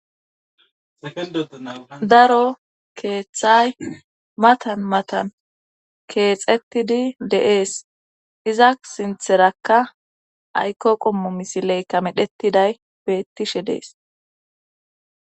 daro keeththay matan matan keexettidi deees iza sintherakka ayko qommo misileyka medhetiday beettishe dees